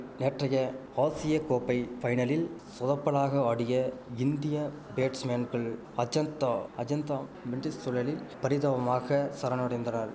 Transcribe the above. நேற்றைய ஆசிய கோப்பை பைனலில் சொதப்பலாக ஆடிய இந்திய பேட்ஸ்மேன்கள் அஜந்தா அஜந்தா மெண்டிஸ் சுழலில் பரிதாபமாக சரணடைந்தனர்